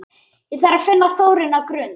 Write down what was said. Ég þarf að finna Þórunni á Grund!